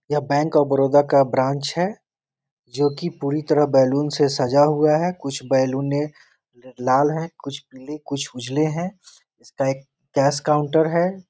यह bank of Baroda का branch है जो की पुरी तरह बैलून से सजा हुआ है कुछ बैलून लाल है कुछ पीले कुछ उजले हैं इसका एक कैश काउंटर है।